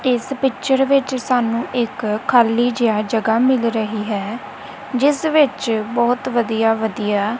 ਇਸ ਪਿਚਰ ਵਿੱਚ ਸਾਨੂੰ ਇੱਕ ਖਾਲੀ ਜਿਹਾ ਜਗਾ ਮਿਲ ਰਹੀ ਹੈ ਜਿਸ ਵਿੱਚ ਬਹੁਤ ਵਧੀਆ ਵਧੀਆ--